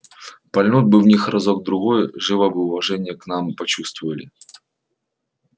пальнуть бы в них разок другой живо бы уважение к нам почувствовали